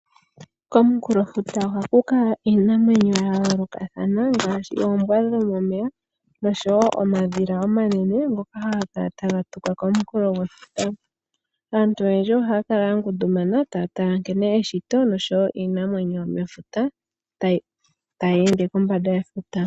Komunkulofuta ohaku kala iinamwenyo ya yoolokathana ngaashi oombwa dhomomeya nosho wo omadhila omanene ngoka haga kala taga tuka komunkulo gwefuta. Aantu oyendji ohaya kala ya ngundumana taa tala nkene eshito noshowo iinamwenyo yomefuta, tayi ende kombanda yetuta.